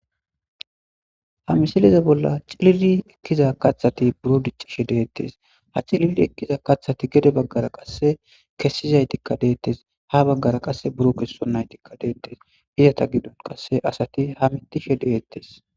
ha misileza bolla cilili ekkiza kathati buro diccishe deettes ha cilili ekkiza katthati gede baggara qasse kessizaytikka deettes ha baggara qasse buro kessonnaytikka deettes izeta gidon qasse asati hamittishe de'eettes